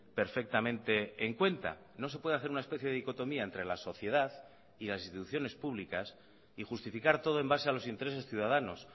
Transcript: perfectamente en cuenta no se puede hacer una especie de dicotomía entre la sociedad y las instituciones públicas y justificar todo en base a los intereses ciudadanos